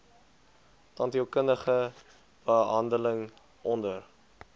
tandheelkundige behandeling onder